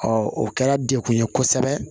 o kɛra degun ye kosɛbɛ